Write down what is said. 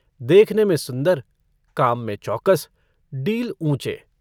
देखने में सुन्दर काम में चौकस डील ऊँचे।